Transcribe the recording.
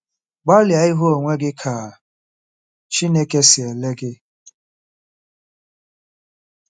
Gbalịa ịhụ onwe gị ka Chineke si ele gị.